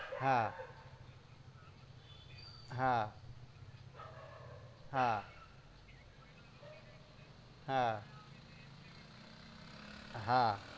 હા હા હા હા હા